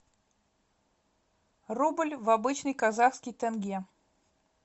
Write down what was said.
рубль в обычный казахский тенге